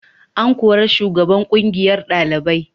An kori shugaban kungiyar dalibai.